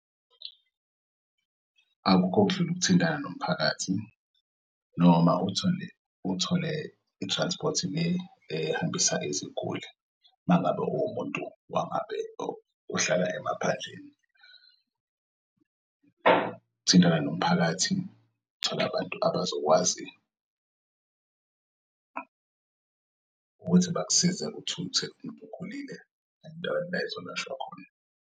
Akukho okudlula ukuthintana nomphakathi noma uthole i-transport le ehambisa iziguli mangabe ungumuntu ohlala emaphandleni. ukuthintana nomphakathi thola abantu abazokwazi ukuthi bakusize uthuthe umtokhulile ezolayishwa khona.